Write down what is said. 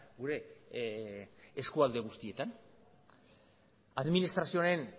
gure eskualde guztietan administrazioaren